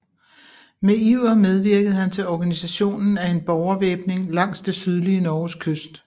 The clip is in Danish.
Med iver medvirkede han til organisationen af en borgervæbning langs det sydlige Norges kyst